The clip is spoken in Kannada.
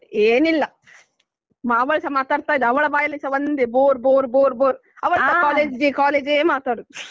ಮಾತಾಡ್ತಾ ಏನಿಲ್ಲ ಮಾವಸ ಮಾತಾಡ್ತಾ ಇದ್ದ ಅವಳ ಬಾಯಲ್ಲಿಸಾ ಒಂದೇ bore bore bore bore ಅವರುಸ college day college day ಯೇ ಮಾತಾಡುದು